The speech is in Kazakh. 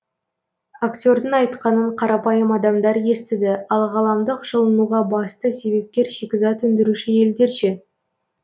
актердің айтқанын қарапайым адамдар естіді ал ғаламдық жылынуға басты себепкер шикізат өндіруші елдер ше